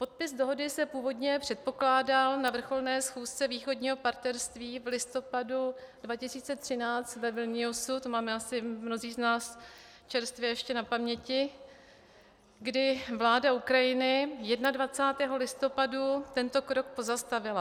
Podpis dohody se původně předpokládal na vrcholné schůzce Východního partnerství v listopadu 2013 ve Vilniusu - to máme asi mnozí z nás čerstvě ještě na paměti -, kdy vláda Ukrajiny 21. listopadu tento krok pozastavila.